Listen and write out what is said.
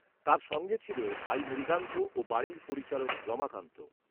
তার সঙ্গে ছিল ভাই মৃগাঙ্ক, ও বাড়ির পরিচারক রমাকান্ত